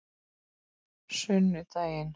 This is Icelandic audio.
sunnudaginn